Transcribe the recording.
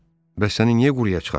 Bəs səni niyə quruya çıxartmadı?